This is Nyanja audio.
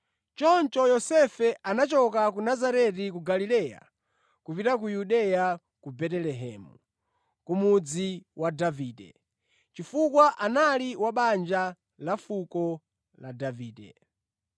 Choncho Yosefe anachoka ku Nazareti ku Galileya kupita ku Yudeya, ku Betelehemu ku mudzi wa Davide, chifukwa anali wa banja ndi fuko la Davide.